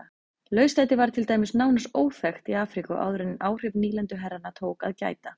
Lauslæti var til dæmis nánast óþekkt í Afríku áður en áhrifa nýlenduherrana tók að gæta.